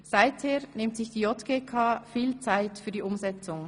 Seitdem nimmt sich die JGK viel Zeit für die Umsetzung.